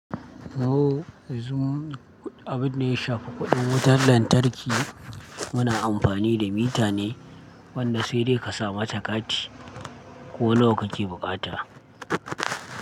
Oh zoom! Abin da ya shafi kuɗin wutar lantarki, muna amfani da mita ne wanda sai dai ka sa mata kati ko nawa kake bukata.